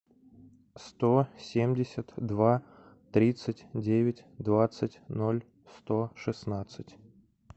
сто семьдесят два тридцать девять двадцать ноль сто шестнадцать